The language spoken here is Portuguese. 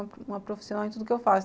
Uma profissional em tudo o que eu faço.